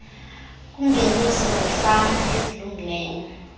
kwiingeniso zefama ezilungisiweyo